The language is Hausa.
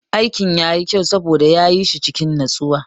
Aikin yayi kyau saboda ya yi shi cikin natsuwa.